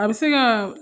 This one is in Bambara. A bɛ se ka